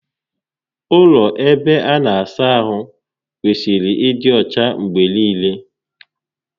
Ụlọ ebe a na-asa ahụ kwesịrị ịdị ọcha mgbe niile